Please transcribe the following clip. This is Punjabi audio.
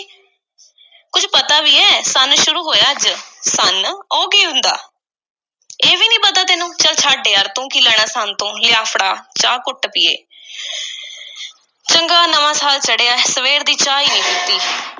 ਕੁਝ ਪਤਾ ਵੀ ਐ, ਸੰਨ ਸ਼ੁਰੂ ਹੋਇਐ ਅੱਜ? ਸੰਨ? ਉਹ ਕੀ ਹੁੰਦੈ। ਇਹ ਵੀ ਨਹੀਂ ਪਤਾ ਤੈਨੂੰ, ਚੱਲ ਛੱਡ ਯਾਰ, ਤੂੰ ਕੀ ਲੈਣਾ ਸੰਨ ਤੋਂ, ਲਿਆ, ਫੜਾ ਚਾਹ, ਘੁੱਟ ਪੀਈਏ, ਚੰਗਾ ਨਵਾਂ ਸਾਲ ਚੜ੍ਹਿਐ, ਸਵੇਰ ਦੀ ਚਾਹ ਈ ਨਹੀਂ ਪੀਤੀ।